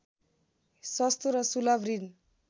सस्तो र सुलभ ऋण